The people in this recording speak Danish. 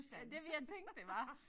Ja det ville jeg tænke det var